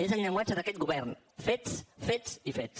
és el llenguatge d’aquest govern fets fets i fets